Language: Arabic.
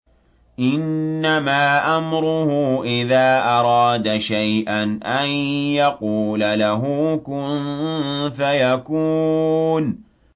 إِنَّمَا أَمْرُهُ إِذَا أَرَادَ شَيْئًا أَن يَقُولَ لَهُ كُن فَيَكُونُ